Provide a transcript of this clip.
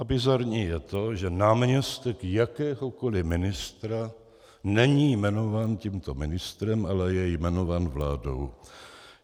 A bizarní je to, že náměstek jakéhokoli ministra není jmenován tímto ministrem, ale je jmenován vládou.